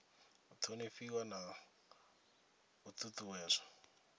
u thonifhiwa na u ṱuṱuwedzwa